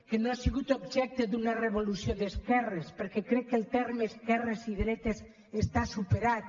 que no ha sigut objecte d’una revolució d’esquerres perquè crec que els termes esquerres i dretes estan superats